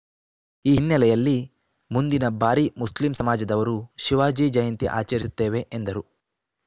ಈ ಹಿನ್ನೆಲೆಯಲ್ಲಿ ಮುಂದಿನ ಬಾರಿ ಮುಸ್ಲಿಂ ಸಮಾಜದವರು ಶಿವಾಜಿ ಜಯಂತಿ ಆಚರಿಸುತ್ತೇವೆ ಎಂದರು